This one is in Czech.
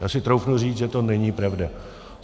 Já si troufnu říct, že to není pravda.